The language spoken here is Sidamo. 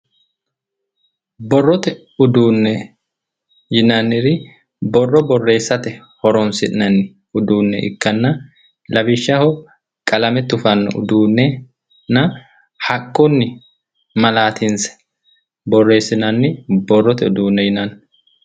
Borrote uduunne yinanniri borro borreessate horoonsi'nanni uduunne ikkanna lawishaho qalame tufanno uduunnenna haqqunni malaatinse borreessinanni borrote uduunne yinanni